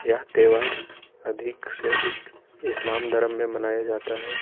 यह त्यौहार अधिक से अधिक इस्लाम धर्म में मनाया जाता है।